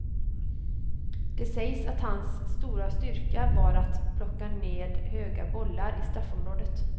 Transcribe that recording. Det sägs att hans stora styrka var att plocka ned höga bollar i straffområdet.